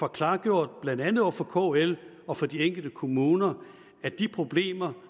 klargjort blandt andet over for kl og over for de enkelte kommuner at de problemer